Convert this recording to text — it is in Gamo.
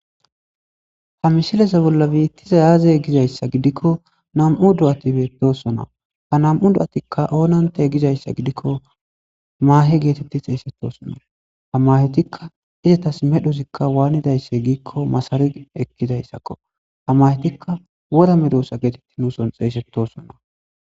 Ha mishileze bolla biittizayaze gizayssa gidikko nam'u do'ati beetosona ha nam'u do'atikka oonante gizayssa gidikko maahe geetetti xeesettosonna ha mahetikka izatas medhozikka waanidaysse giikko masari ekkidayssakko ha mahetikka wora me doosa geetetti nuuson xeesettosona.